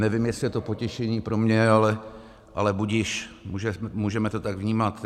Nevím, jestli je to potěšení pro mě, ale budiž, můžeme to tak vnímat.